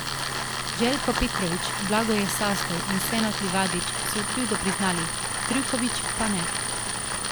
Željko Petrović, Blagoje Sazdov in Senad Livadić so krivdo priznali, Trivković pa ne.